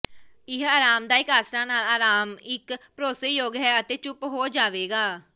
ਇਹ ਆਰਾਮਦਾਇਕ ਆਸਰਾ ਨਾਲ ਆਰਾਮ ਇੱਕ ਭਰੋਸੇਯੋਗ ਹੈ ਅਤੇ ਚੁੱਪ ਹੋ ਜਾਵੇਗਾ